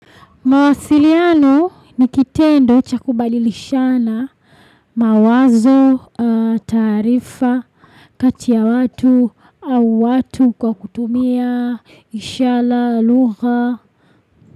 Mawasiliano nikitendo chakubadilishana mawazo, taarifa, katiya watu au watu kwa kutumia, ishara, lugha.